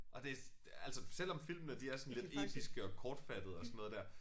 Og det altså selvom filmene de er sådan lidt episke og kortfattede og sådan noget der